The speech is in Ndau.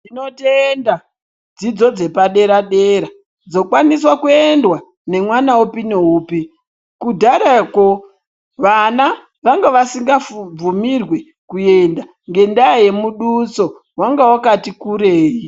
Tinotenda dzidzo dzepadera-dera, dzokwaniswa kuendwa nemwana upi neupi. Kudharako vana vanga vasingabvimidzwi kuenda ngendaa yemuduso, wanga wakati kurei.